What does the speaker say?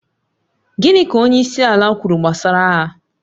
Gịnị ka onyeisiala kwuru gbasara agha?